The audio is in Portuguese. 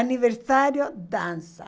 Aniversário, dança.